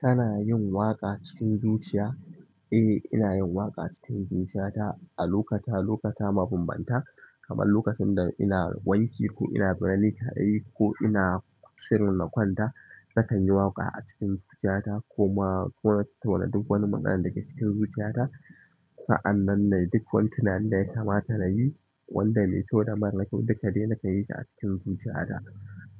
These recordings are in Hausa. Tana yin waƙa cikin zuciya. Eh, ina yin waƙa cikin zuciyata a lokuta, lokuta mabambanta kamar lokacin da ina wanki ko ina bira ni kaɗai ko ina shirin na kwanta. Nakan yi waƙa a cikin zuciyata ko ma ko na tattauna duk wani maganan da ke cikin zuciyata. Sa'an nan duk wani tunani da ya kamata na yi wanda mai kyau da mara kyau duk de na kan yi shi a cikin zuciyata.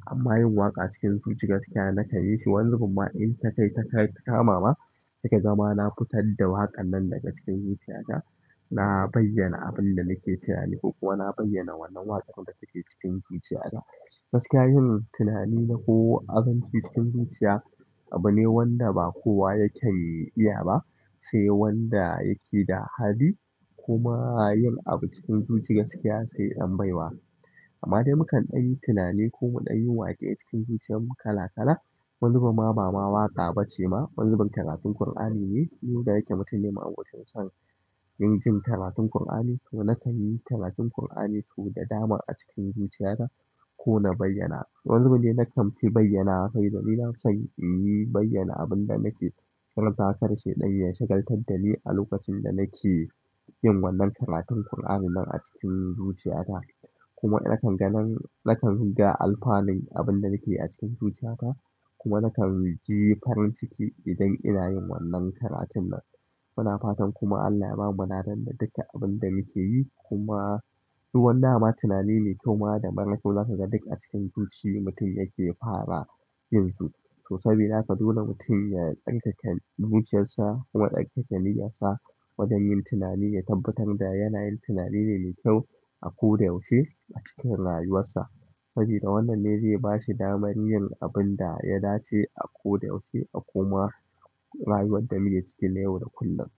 Amma yin waƙa cikin zuci gaskiya nakan yi shi wanizu bun ma in ta kai ta kamawa, suka zama na fitar da waƙan nan daga cikin zuciyata. Na bayyana abin da nake tunani ko kuma na bayyana wannan waƙar da take cikin zuciyata. Gaskiya yin tunani da ko abinci cikin zuciya abu ne wanda ba kowa yaken iya ba, sai wanda yake da hali kuma yin abu cikin zuciyar gaskiya sai ɗan baiwa. Amma dai mukan ɗanyi tunani ko mu ɗanyi waƙe cikin zuciyar mu kala kala. Wani zubin ma ba ma waƙa ba ce ma wani zubin karatu Kur'ani ne. Ni da yake mutum ne ma'abocin son yin jin karatun Kur'ani kuma nakan yi karatun Kur'ani sosai da damar a cikin zuciyata ko na bayyana. Wani zubin kuma nakan fi bayyana saboda nafi san in yi bayyana abin da nake karantawa kada shaiɗan ya shagaltar da ni a lokacin da nake yin wannan karatun Kur'ani nan a cikin zuciyata. Kuma nakan ganin nakan ganin ga alfanin abin da nake a cikin zuciyata kuma nakan ji farin ciki idan ina yin wannan karatun nan. Muna fatan kuma Allah ya bamu ladan da duka abin da muke yi kuma kuma duk wani dama tunani mai kyau ma da mara kyau zasu ga duk a cikin zuci mutum yake fara yin su. To sabida haka dole mutum ya tsarkake zuciyarsa kuma ya tsarkake niyyarsa wajen yin tunani ya tabbatar da yana yin tunani ne mai kyau a ko da yaushe a cikin rayuwarsa. Sabida wannan ne zai bashi damar yin abin da ya dace a ko da yaushe a kuma rayuwar da muke cike na yau da kullum.